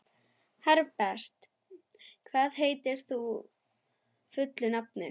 Herbert, hvað heitir þú fullu nafni?